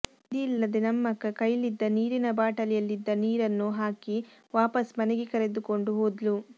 ವಿಧಿ ಇಲ್ಲದೆ ನಮ್ಮಕ್ಕ ಕೈಲಿದ್ದ ನೀರಿನ ಬಾಟಲಿಯಲ್ಲಿದ್ದ ನೀರನ್ನು ಹಾಕಿ ವಾಪಸ್ ಮನೆಗೆ ಕರೆದುಕೊಂಡು ಹೋದ್ಲು